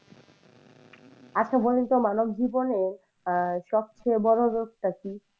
আচ্ছা বলেন তো মানব জীবনে আহ সবচেয়ে বড় রোগ টা কী?